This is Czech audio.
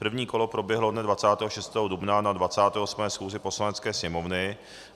První kolo proběhlo dne 26. dubna na 28. schůzi Poslanecké sněmovny.